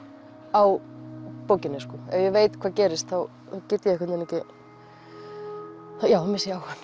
á bókinni ef ég veit hvað gerist þá get ég einhvern veginn ekki já þá missi ég áhugann